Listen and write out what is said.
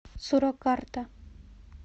суракарта